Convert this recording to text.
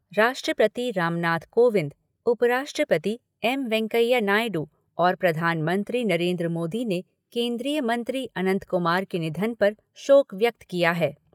राष्ट्रपति रामनाथ कोविंद उपराष्ट्रस्पति एम वेंकैया नायडू और प्रधानमंत्री नरेन्द्र मोदी ने केन्द्रीय मंत्री अनंत कुमार के निधन पर शोक व्यक्त किया है।